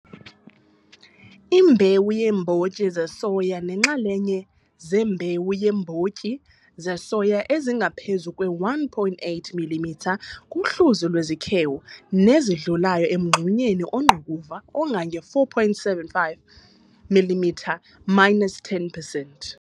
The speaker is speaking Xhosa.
Imbewu yeembotyi zesoya neenxalenye zembewu yeembotyi zesoya ezingaphezu kwe 1,8 mm kuhluzo lwezikhewu nezidlulayo emngxunyeni ongqukuva ongange 4,75 mm minus 10 percent.